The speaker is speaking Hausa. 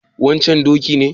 wancan doki ne?